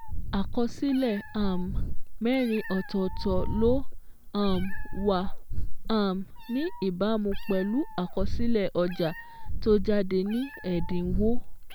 Àkọsílẹ̀ um mẹ́rin ọ̀tọ̀ọ̀tọ̀ ló um wà um ní ìbámu pẹ̀lú àkọsílẹ̀ ọjà tó jáde ní ẹ̀dínwó